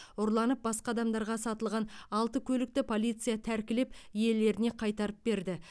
ұрланып басқа адамдарға сатылған алты көлікті полиция тәркілеп иелеріне қайтарып берді